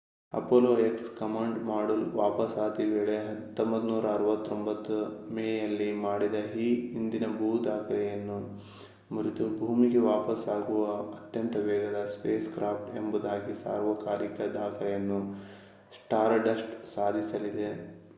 Apollo X command module ವಾಪಸಾತಿ ವೇಳೆ 1969 ಮೇಯಲ್ಲಿ ಮಾಡಿದ ಈ ಹಿಂದಿನ ದಾಖಲೆಯನ್ನು ಮುರಿದು ಭೂಮಿಗೆ ವಾಪಸಾಗುವ ಅತ್ಯಂತ ವೇಗದ ಸ್ಪೇಸ್‌ಕ್ರಾಫ್ಟ್‌ ಎಂಬುದಾಗಿ ಸಾರ್ವಕಾಲಿಕ ದಾಖಲೆಯನ್ನು ಸ್ಟಾರ್‌ಡಸ್ಟ್ ಸಾಧಿಸಲಿದೆ